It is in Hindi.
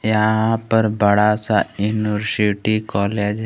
यहां पर बड़ा सा यूनिवर्सिटी कॉलेज है।